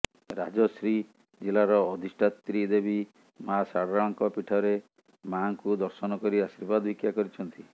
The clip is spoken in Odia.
ରାଜଶ୍ରୀ ଜିଲ୍ଲାର ଅଧିଷ୍ଠାତ୍ରୀ ଦେବୀ ମା ଶାରଳାଙ୍କ ପୀଠରେ ମାଙ୍କୁ ଦର୍ଶନ କରି ଆଶିର୍ବାଦ ଭିକ୍ଷା କରିଛନ୍ତି